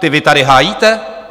Ty vy tady hájíte?